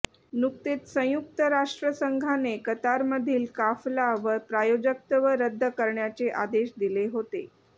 नुकतेच संयुक्त राष्ट्र संघाने कतारमधील काफला व प्रायोजकत्व रद्द करण्याचे आदेश दिले होते